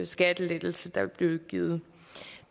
skattelettelse der vil blive givet